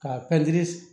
K'a